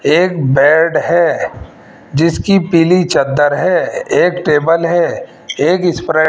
एक बेड हैं जिसकी पीली चद्दर है एक टेबल हैं एक स्प्राइट --